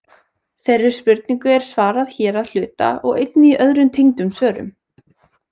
Þeirri spurningu er svarað hér að hluta og einnig í öðrum tengdum svörum.